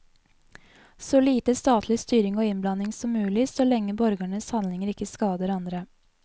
Så lite statlig styring og innblanding som mulig, så lenge borgernes handlinger ikke skader andre.